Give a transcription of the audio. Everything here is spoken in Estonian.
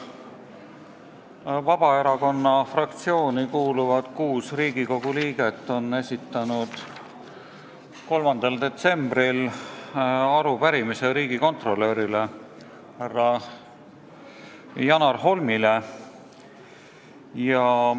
Kuus Vabaerakonna fraktsiooni kuuluvat Riigikogu liiget on esitanud 3. detsembril arupärimise riigikontrolör Janar Holmile.